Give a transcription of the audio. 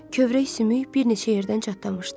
Kövrək sümük bir neçə yerdən çatlamışdı.